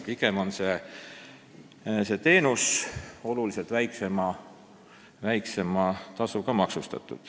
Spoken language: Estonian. Pigem makstakse selle teenuse eest oluliselt väiksemat tasu.